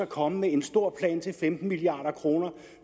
komme med en stor plan til femten milliard kroner